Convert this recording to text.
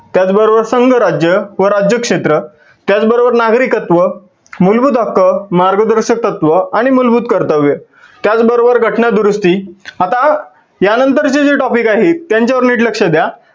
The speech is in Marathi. त्याच बरोबर संघ राज्य व राज्य क्षेत्र, त्याच बरोबर नागरिकत्व, मुलभूत हक्क, मार्गदर्शक तत्त्व आणि मुलभूत कर्तव्य, त्याच बरोबर घटना दुरुस्ती आता या नंतर चे जे topic आहेत त्यांच्यावर नीट लक्ष द्या.